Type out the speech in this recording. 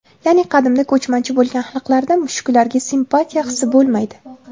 Ya’ni qadimda ko‘chmanchi bo‘lgan xalqlarda mushuklarga simpatiya hisi bo‘lmaydi.